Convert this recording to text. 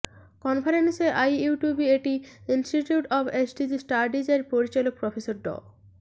কনফারেন্সে IUBAT institute of SDG studies এর পরিচালক প্রফেসর ড